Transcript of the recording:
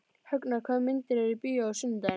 Högna, hvaða myndir eru í bíó á sunnudaginn?